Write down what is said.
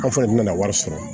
Aw fana nana wari sɔrɔ